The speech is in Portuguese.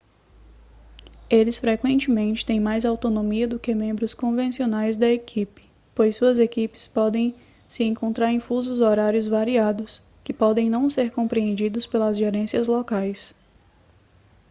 eles frequentemente têm mais autonomia do que membros convencionais da equipe pois suas equipes podem se encontrar em fusos horários variados que podem não ser compreendidos pelas gerências locais